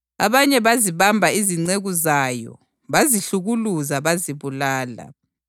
Abanye bazibamba izinceku zayo, bazihlukuluza bazibulala.